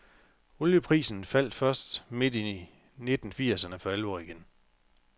Olieprisen faldt først midt i nitten firserne for alvor igen.